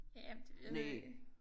Ja det ved jeg ikke